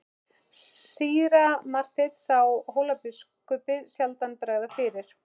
Síra Marteinn sá Hólabiskupi sjaldan bregða fyrir.